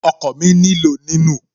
Okọ̀ mi nílò ní nù